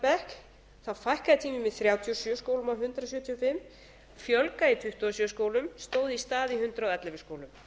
bekk fækkaði tímum í þrjátíu og sjö skólum af hundrað sjötíu og fimm fjölgaði í tuttugu og sjö skólum stóð í stað í hundrað og ellefu skólum